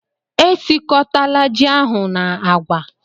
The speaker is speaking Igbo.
Esiọkọtala ji ahụ na agwa!